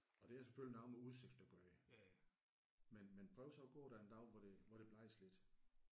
Og det er selvfølgelig noget med udsigt at gøre men men prøv så at gå der en dag hvor det hvor det blæser lidt